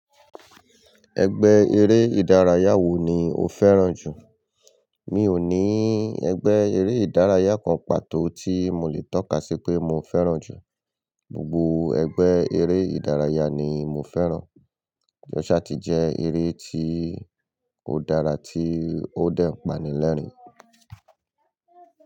Ẹgbẹ́ eré ìdárayá wo ni o fẹ́ràn jù? Mi ò ní ẹgbẹ́ eré ìdárayá kan pàtó tí mo lè tọ́ka sí pé mo fẹ́ràn jù. Gbogbo ẹgbẹ́ eré ìdárayá ni mo fẹ́ràn. Ọsati jẹ́ eré tí ó dára tí ó dẹ̀ ń pani lẹ́rìn-ín.